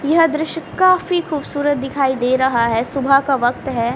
यह दृश्य काफी खूबसूरत दिखाई दे रहा है सुबह का वक्त है।